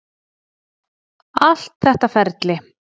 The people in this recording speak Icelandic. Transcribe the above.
Allt þetta ferli.